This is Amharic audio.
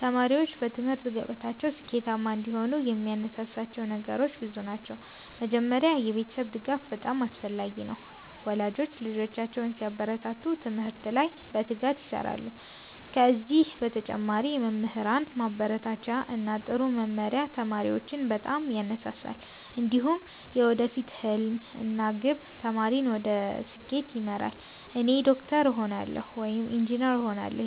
ተማሪዎች በትምህርት ገበታቸው ስኬታማ እንዲሆኑ የሚያነሳሳቸው ነገሮች ብዙ ናቸው። መጀመሪያ የቤተሰብ ድጋፍ በጣም አስፈላጊ ነው፤ ወላጆች ልጆቻቸውን ሲያበረታቱ ትምህርት ላይ በትጋት ይሰራሉ። ከዚህ በተጨማሪ የመምህራን ማበረታቻ እና ጥሩ መመሪያ ተማሪዎችን በጣም ያነሳሳል። እንዲሁም የወደፊት ሕልም እና ግብ ተማሪን ወደ ስኬት ይመራል። “እኔ ዶክተር እሆናለሁ” ወይም “ኢንጂነር እሆናለሁ”